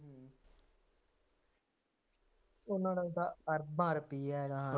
ਉਹਨਾ ਕੋਲ ਤਾਂ ਅਰਬਾਂ ਰੁਪਇਆ ਹੈਗਾ ਹੈ